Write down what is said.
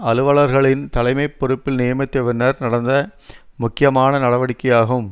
அலுவலர்களின் தலைமை பொறுப்பில் நியமித்தபின்னர் நடந்த முக்கியமான நடவடிக்கையாகும்